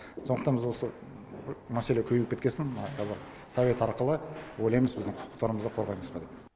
сондықтан біз осы мәселе көбейіп кеткесін мына кәзір совет арқылы ойлаймыз біздің құқықтарымызды қорғаймыз ба деп